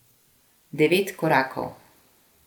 Devet korakov.